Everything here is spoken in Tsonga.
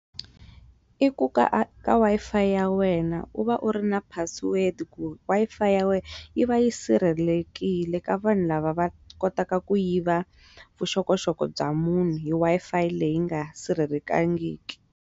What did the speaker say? I ku ka ka Wi-Fi ya wena u va u ri na password ku Wi-Fi ya wena yi va yi sirhelelekile ka vanhu lava va kotaka ku yiva vuxokoxoko bya munhu hi Wi-Fi leyi nga sirhelekangiki.